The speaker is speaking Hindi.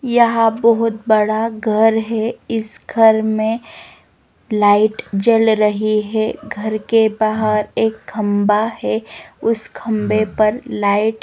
यहां बहुत बड़ा घर है इस घर में लाइट जल रही है घर के बाहर एक खंबा है उस खंभे पर लाइट --